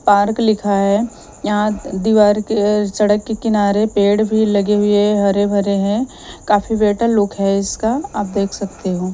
Park लिखा है। यहां दीवार के सड़क के किनारे पेड़ भी लगे हुए हरे भरे हैं। काफी बेटर लुक है इसका आप देख सकते हो।